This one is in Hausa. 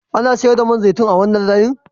Ana sayar da man zaitun a wannan layin?